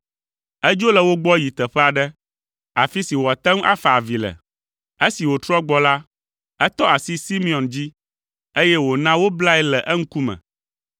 Edzo le wo gbɔ yi teƒe aɖe, afi si wòate ŋu afa avi le. Esi wòtrɔ gbɔ la, etɔ asi Simeon dzi, eye wòna woblae le eŋkume.